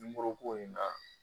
in kan.